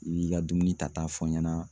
I b'i ka dumuni ta ta fɔ n ɲɛna